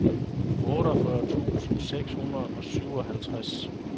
otteogfyrre tusind seks hundrede og syvoghalvtreds